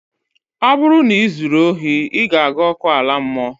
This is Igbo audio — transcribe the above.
Ọ bụrụ na ị zuru ohi, ị ga-aga ọkụ ala mmụọ